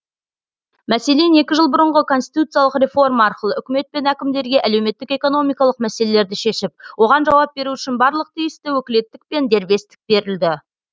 мәселен екі жыл бұрынғы конституциялық реформа арқылы үкімет пен әкімдерге әлеуметтік экономикалық мәселелерді шешіп оған жауап беру үшін барлық тиісті өкілеттік пен дербестік берілді